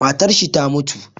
Matarshi ta mutu